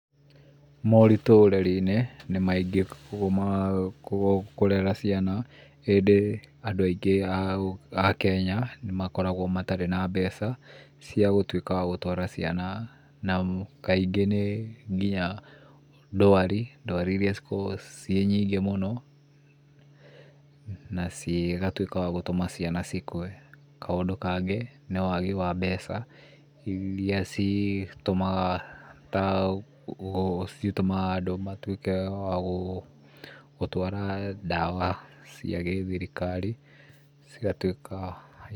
Moritũ ũrereniĩ nĩmaingĩ ũguo kũrera ciana ĩndĩ andũ aingĩ a Kenya nĩmakoragwo matarĩ na mbeca ciagũtuĩka wagũtwara ciana, na kaingĩ nĩnginya ndwari, ndwari iria cikoragwo cinyingĩ mũno na cigatuĩka wagũtũma ciana ikue. Kaũndũ kangĩ nĩ wagi wa mbeca iria citũmaga da andũ matuĩke wa gũtwara dawa cia gĩthirikari cigatuĩka.